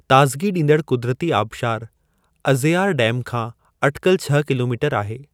ताज़िगी ॾींदड़ क़ुदिरती आबशारु, अज़ेआर डैम खां अटिकल छह किलोमीटर आहे।